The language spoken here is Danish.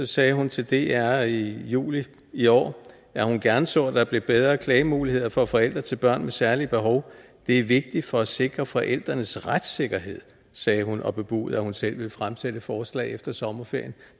sagde hun til dr i juli i år at hun gerne så at der blev bedre klagemuligheder for forældre til børn med særlige behov det er vigtigt for at sikre forældrenes retssikkerhed sagde hun og bebudede at hun selv ville fremsætte et forslag efter sommerferien